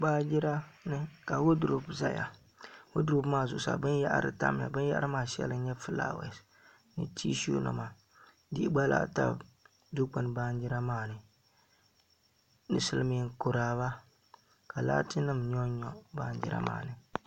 Baanjira ni ka woodurop ʒɛya woodurop maa zuɣusaa binyahari tam mi ka binyahari maa fulaawa nima ni tishu nima tia gba lahi tam dikpuni shɛli baanjira maa ni bɛ maa ni silmiin kuraaba ka laati nim nyonnyo baanjira maa ni